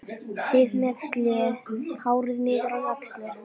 Sif með slétt hárið niður á axlir.